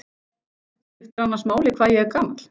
Skiptir annars máli hvað ég er gamall?